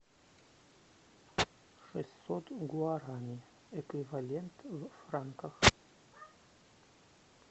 шестьсот гуарани эквивалент в франках